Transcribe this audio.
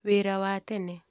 Wĩra wa tene.